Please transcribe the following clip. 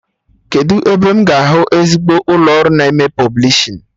Kedụ ebe m ga-ahụ ezigbo ụlọ ọrụ na-eme pọblishin?